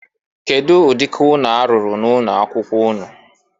Kedu ụdị ụnọ a rụrụ na ụnọ akwụkwọ ụnụ?